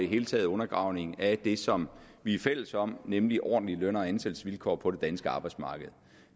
hele taget undergravning af det som vi er fælles om nemlig ordentlige løn og ansættelsesvilkår på det danske arbejdsmarked